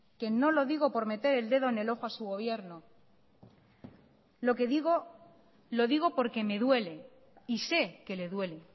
que no lo digo por meter el dedo en el ojo a su gobierno lo que digo lo digo porque me duele y sé que le duele